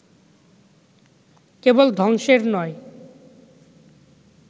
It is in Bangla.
কেবল ধ্বংসের নয়